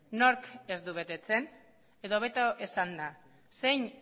nork ez du betetzen edo hobeto esanda zein